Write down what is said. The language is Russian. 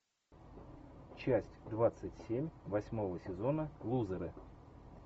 часть двадцать семь восьмого сезона лузеры